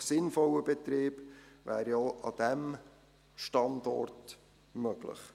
Ein wirtschaftlich sinnvoller Betrieb wäre ja auch an diesem Standort möglich.